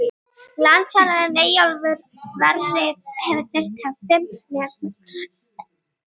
Landsliðsþjálfarinn Eyjólfur Sverrisson hélt þá að hann þyrfti að hafa fimm leikmenn utan hóps.